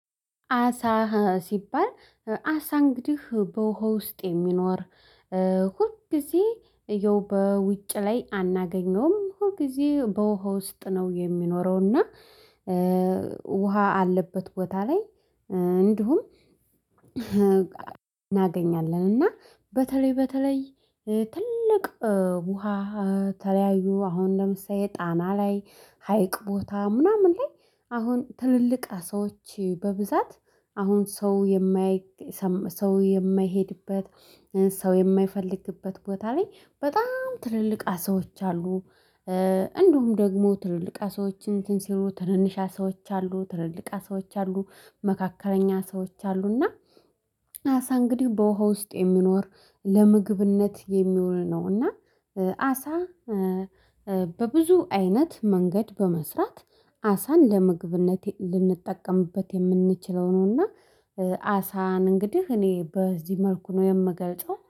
አሳ ሲባል አሳ እንግዲህ በውሃ ውስጥ የሚኖር ሁል ጊዜ ያው በውጭ ላይ አናገኘውም ሁል ጊዜ በውሃ ውስጥ ነው የሚኖረው። እና ውሃ አለበት ቦታ ላይ እንዲሁም እናገኛለን። እና በተለይ በተለይ ትልቅ ውሃ የተለያዩ አሁን ለምሳሌ ጣና ላይ ሀይቅ ቦታ ምናምን ላይ አሁን ትልልቅ ሰዎች በብዛት አሁን ሰው ሰው የማይሄድበት ሰው የማይፈልግበት ቦታ ላይ በጣም ትልልቃ አሳዎች አሉ። እንዲሁም ደግሞ ትልልቅ አሳዎችን እንትን ሲሉ ትንንሽ አሳዎች አሉ ትልልቅ አሳዎች አሉ መካከለኛ አሳዎች አሉ። እና አሳ እንግዲህ በውሃ ውስጥ የሚኖር ለምግብነት የሚሆን ነው። እና አሳ በብዙ አይነት መንገድ በመስራት አሳን ለምግብነት ልንጠቀምበት የምንችለው ነውና። አሳን እንግዲህ እኔ በዚህ መልኩ ነው የምገልጸው